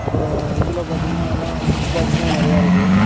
அப்புற இதுல பாத்திங்கன்னா எல்லா சுச் பாக்ஸ்லா நறைய இருக்கு.